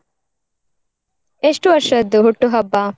ಎಷ್ಟು ವರ್ಷದ್ದು ಹುಟ್ಟುಹಬ್ಬ?